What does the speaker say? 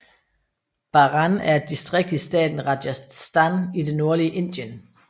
Baran er et distrikt i staten Rajasthan i det nordlige Indien